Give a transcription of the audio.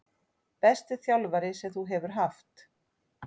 Besti þjálfari sem þú hefur haft?